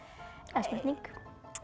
það er spurning